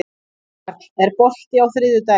Jarl, er bolti á þriðjudaginn?